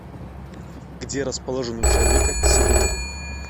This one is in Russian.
где расположен у человека себина